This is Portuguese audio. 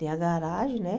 Tem a garagem, né?